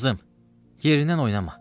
Qızım, yerindən oynama.